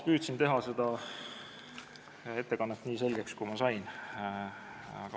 Püüdsin teha ettekande nii selgeks, kui võimalik.